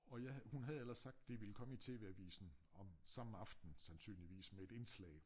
Og jeg havde hun havde ellers sagt det ville komme i TV Avisen om samme aften sandsynligvis med et indslag